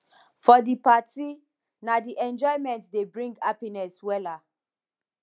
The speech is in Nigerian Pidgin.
for di party na di enjoyment dey bring hapiness wella